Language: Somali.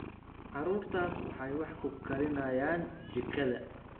Carruurtaas waxay wax ku karinayaan jikada